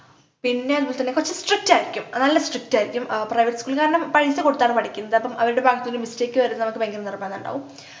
പിന്നെ എന്തന്നുവെച്ചാൽ കൊറച്ചു strict ആയിരിക്കും നല്ല strict ആയിരിക്കും ആഹ് private school ൽ കാരണം പൈസ കൊടുത്താണ് പഠിക്കുന്നത് അപ്പം അവരുടെ ഭാഗത്ത് നിന്ന് mistake വരരുത് ന്നു അവർക്ക് ഭയങ്കര നിർബന്ധം ഇണ്ടാവും